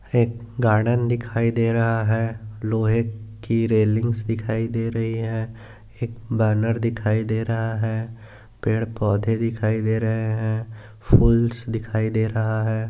एक गार्डन दिखाई दे रहा है लोहे की रेलिंग्स दिखाई दे रही है एक बॅनर दिखाई दे रहा है पेड पौंधे दिखाई दे रहे है फुल्स दिखाई दे रहा है।